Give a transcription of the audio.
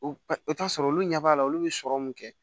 O t'a sɔrɔ olu ɲɛ b'a la olu bɛ sɔrɔ mun kɛ